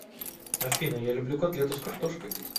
афина я люблю котлету с картошкой